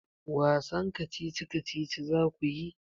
Wasan kacici-kacici za ku yi?